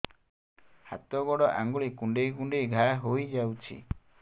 ହାତ ଗୋଡ଼ ଆଂଗୁଳି କୁଂଡେଇ କୁଂଡେଇ ଘାଆ ହୋଇଯାଉଛି